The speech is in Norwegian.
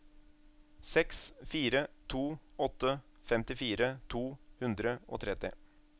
seks fire to åtte femtifire to hundre og tretti